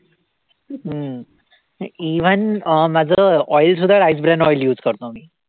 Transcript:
हम्म even अं माझं oil सुद्धा rice brand oil use करतो मी